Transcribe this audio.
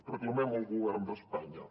reclamem al govern d’espanya